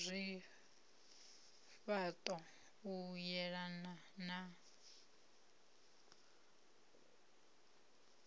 zwifha ṱo u yelana na